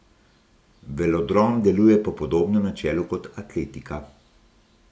Velodrom deluje po podobnem načelu kot atletika.